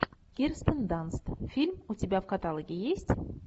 кирстен данст фильм у тебя в каталоге есть